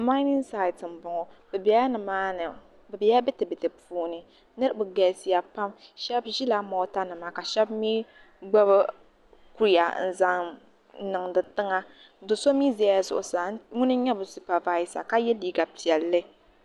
Mainin saait n boŋo bi biɛla ditiditi puuni bi galisiya pam shab ʒila moota nima ka shab gbubi kuya n zaŋ niŋdi tiŋa so mii ʒɛla zuɣusaa ŋuni n nyɛ bi supavaisa ka yɛ liiga piɛlli